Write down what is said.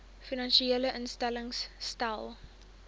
finansiële instellings stel